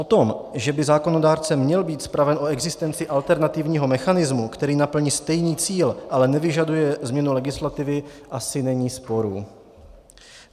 O tom, že by zákonodárce měl být zpraven o existenci alternativního mechanismu, který naplní stejný cíl, ale nevyžaduje změnu legislativy, asi není sporu.